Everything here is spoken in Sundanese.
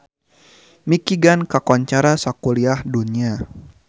Michigan kakoncara sakuliah dunya